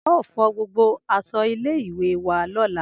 Ao fo gbogbo aso ile iwe wa lola